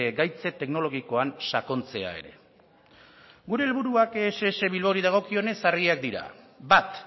gaitz teknologikoan sakontzea ere gure helburuak ess bilbaori dagokionez argiak dira bat